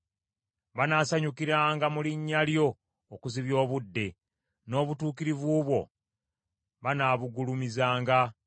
Banaasanyukiranga mu linnya lyo okuzibya obudde, n’obutuukirivu bwo banaabugulumizanga.